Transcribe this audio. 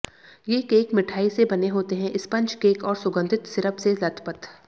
ये केक मिठाई से बने होते हैं स्पंज केक और सुगंधित सिरप से लथपथ